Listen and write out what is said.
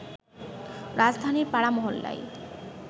রাজধানীর পাড়া-মহল্লায়